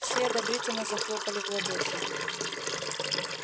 все одобрительно захлопали в ладоши